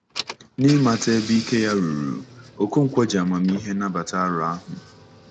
N’ịmata ebe ike ya ruru, Okonkwo ji amamihe nabata aro ahụ.